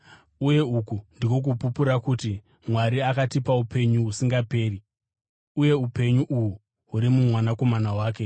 Uye uku ndiko kupupura kuti: Mwari akatipa upenyu husingaperi, uye upenyu uhu huri muMwanakomana wake.